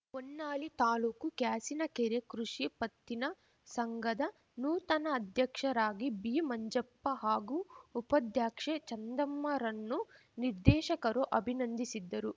ಹೊನ್ನಾಳಿ ತಾಲೂಕು ಕ್ಯಾಸಿನಕೆರೆ ಕೃಷಿ ಪತ್ತಿನ ಸಂಘದ ನೂತನ ಅಧ್ಯಕ್ಷರಾಗಿ ಬಿ ಮಂಜಪ್ಪ ಹಾಗೂ ಉಪಾಧ್ಯಕ್ಷೆ ಚಂದಮ್ಮರನ್ನು ನಿರ್ದೇಶಕರು ಅಭಿನಂದಿಸಿದ್ದರು